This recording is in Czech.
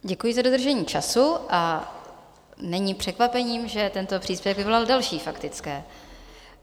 Děkuji za dodržení času a není překvapením, že tento příspěvek vyvolal další faktické.